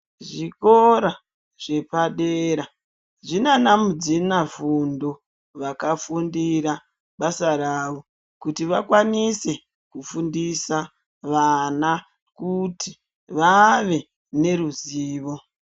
Zvikora zvepadera zvinana mudzina fundo yakafundira basa rawo kuti vakwanise kufundisa vana kuti vave neruzivo.